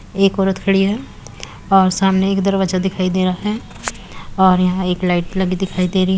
एक औरत खड़ी है और सामने एक दरवाजा दिखाई दे रहा है और यहाँ एक लाइट लगी दिखाई दे रही --